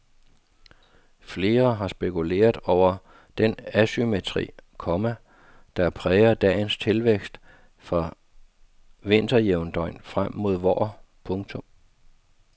Flere har spekuleret over den asymmetri, komma der præger dagens tilvækst fra vinterjævndøgn frem mod vår. punktum